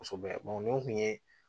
Kosɛbɛ nin kun ye